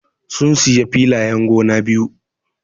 Sun siya filayen gona biyu.